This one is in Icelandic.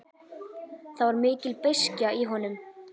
Það var mikil beiskja í honum.